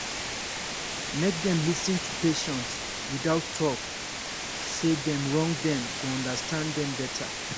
make dem lis ten to patient without talk say dem wrong dem go understand dem better